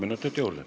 Palun!